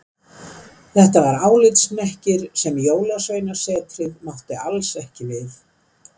Þetta var álitshnekkir sem Jólasveinasetrið mátti alls ekki við.